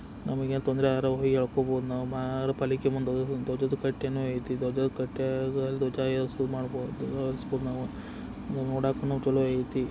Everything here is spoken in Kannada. ನಮಗೆ ಏನಾದರೂ ತೊಂದರೆ ಆದರೆ ಹೋಗಿ ಹೇಳಿರಬಹುದು. ನಾವು ಪಾಲಿಕೆ ನೋಯ್ತೆ ದೊಡ್ಡ ಮುಂದ್ ಧ್ವಜದ ಕಟ್ಟೇನು ಐತೆ ದೊಡ್ಡ ದೊಡ್ಡ ಕಟ್ಟೆಗಳು ಮಾಡ್ಬೋದು ಸ್ಕೂಲ್ ನಾವು ಧ್ವಜದ ಕಟ್ಯಾಗ ಧ್ವಜನು ಏರಿಸಬಹುದು ನೋಡಾಕನು ಚಲೋ ಐತಿ.